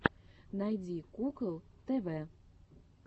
найди кукол тв